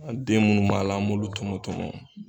A den munnu b'a la, an b'olu tɔmɔ tɔmɔ.